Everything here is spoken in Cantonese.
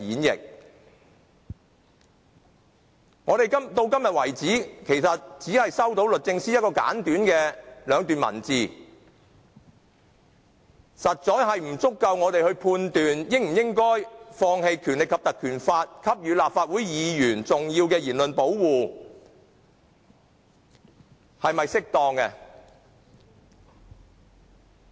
直到今天為止，我們只是收到律政司兩段簡短的文字，實在不足以讓我們判斷，應否放棄《立法會條例》給予立法會議員重要的言論保護，這做法是否適當。